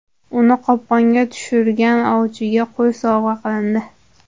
Uni qopqonga tushirgan ovchiga qo‘y sovg‘a qilindi.